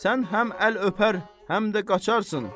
Sən həm əl öpər, həm də qaçarsan.